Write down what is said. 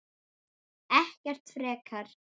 Ekkert frekar.